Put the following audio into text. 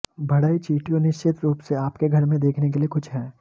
बढ़ई चींटियों निश्चित रूप से आपके घर में देखने के लिए कुछ हैं